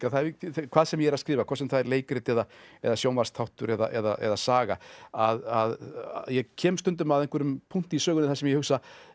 hvað sem ég er að skrifa hvort sem það er leikrit eða eða sjónvarpsþáttur eða saga að ég kem stundum að einhverjum punkti í sögunni þar sem ég hugsa